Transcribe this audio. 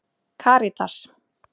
Karítas